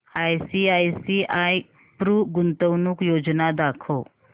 ICICI Pru गुंतवणूक योजना दाखव